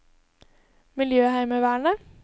miljøheimevernet